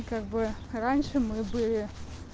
как бы раньше мы бы